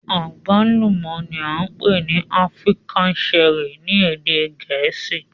Agbalumo ni a npe ni African Cherry ni ede Gẹẹsi